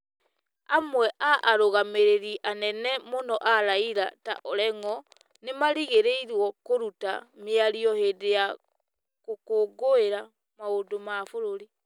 Amwe a arũgamĩrĩri anene mũno a Raila ta Orengo nĩ marĩrĩgĩrĩrwo kũruta mĩario hĩndĩ ya gũkũngũĩra maũndũ ma bũrũri.